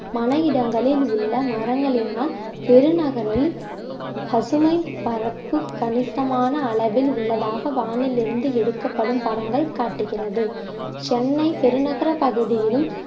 மனை இடங்களில் உள்ள மரங்களினால் பெருநகரில் பசுமை பரப்பு கணிசமான அளவில் உள்ளதாக வானிலிருந்து எடுக்கப்படும் படங்கள் காட்டுகிறது சென்னை பெருநகர பகுதியிலும்